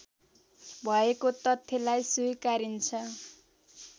भएको तथ्यलाई स्वीकारिन्छ